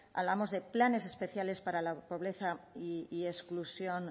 hablábamos de planes especiales para la pobreza y exclusión